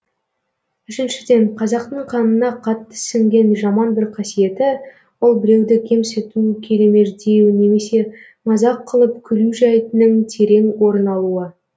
үшіншіден қазақтың қанына қатты сіңген жаман бір қасиеті ол біреуді кемсіту келемеждеу немесе мазақ қылып күлу жәйтінің терең орын алуы